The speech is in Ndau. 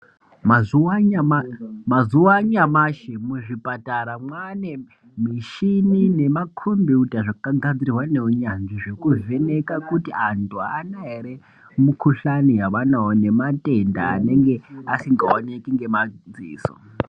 Mazuwa anyamashi ,muzvipatara mwanemushini nemakombiyuta zvakagadzirwa nehunyanzvi yekuvheneka kuti antu aana ere mukusvani yaanawo nematenda anenge asingaoneki nemadziso.